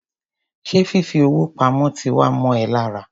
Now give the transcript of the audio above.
Ṣé fifi owó pamó ti wá mọ ẹ lára?